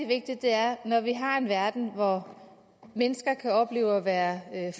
vigtigt er at når vi har en verden hvor mennesker kan opleve at være